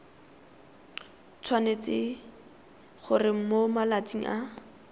tshwanetse gore mo malatsing a